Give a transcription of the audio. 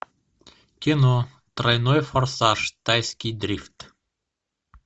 кино тройной форсаж тайский дрифт